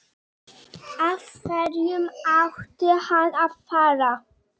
Af hverju ætti hann að fara?